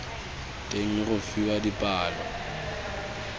teng le go fiwa dipalo